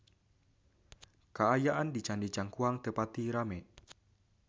Kaayaan di Candi Cangkuang teu pati rame